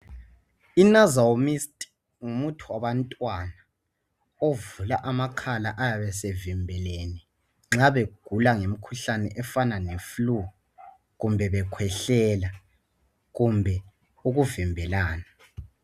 Inasal mist ngumuthi wabantwana ovula amakhala ayabe sevimbelene nxa begula ngemikhuhlane efana le flue kumbe bekhwehlela kumbe ukuvimbelana.